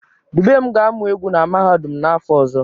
Dubem ga-amụ egwu na mahadum n'afọ ọzọ